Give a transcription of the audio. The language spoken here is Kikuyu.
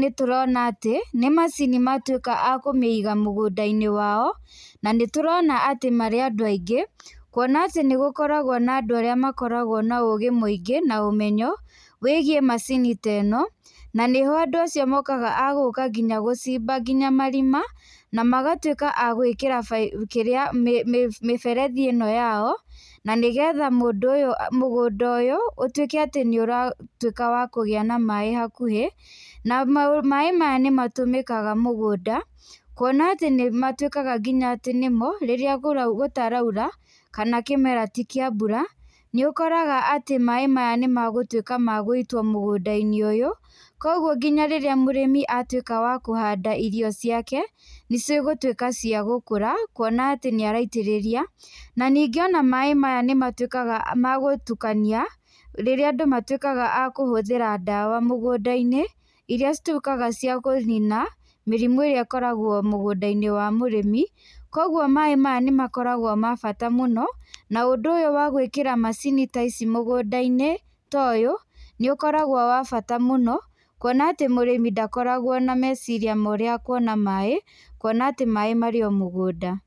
nĩ tũrona atĩ, nĩ macini matuĩka a kũmĩiga mũgũnda-inĩ wao na nĩ tũrona atĩ marĩ andũ aingĩ kwona atĩ nĩ gũkoragwo na andũ arĩa makoragwo na ũgĩ mũingĩ na ũmenyo wĩgie macini teno na nĩ ho andũ acio mokaga, agũka gũcimba nginya marima na magatuĩka a gwĩkĩra baibo, kĩrĩa mĩberethi ĩno yao na nĩgetha mũgũnda ũyũ ũtuĩkĩte atĩ nĩ ũratuĩka wa kũgĩa na maĩ hakuhĩ na maĩ maya nĩ matũmĩkaga mũgũnda, kwona atĩ nĩ matuĩkaga atĩ nĩmo rĩrĩa gũtarura kana kĩmera ti kĩa mbura, nĩ ũkoraga atĩ maĩ maya nĩ magũtuĩka nĩ magũitwo mũgũnda-inĩ ũyũ, kwoguo rĩrĩa mũrĩmi atuĩka wa kũhanda irio ciake nĩ cia gũtuĩka cia gũkũra kwona atĩ nĩ araitĩrĩria na ningĩ ona maĩ maya nĩ matuĩkaga ma gũtukania rĩrĩa andũ matuĩkaga a kũhũthĩra dawa mũgũnda-inĩ, iria cituĩkaga wa kũnina mĩrimũ ĩrĩa ĩkoragwo mũgũnda-inĩ wa mũrĩmi, kwoguo maĩ maya nĩ makoragwo me mabata mũno na ũndũ wa gwĩkĩra macini ta ici mũgũnda-inĩ ta ũyũ nĩ ũkoragwo wa bata mũno, kwona atĩ mũrĩmi ndakoragwo na meciria mangĩ ma ũrĩa akwona maĩ kwona atĩ maĩ marĩo mũgũnda.